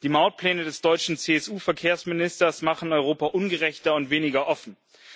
Die Mautpläne des deutschen CSU Verkehrsministers machen Europa ungerechter und weniger offen.